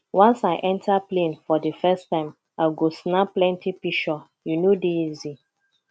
once i enta plane for di first time i go snap plenty pishure e no dey easy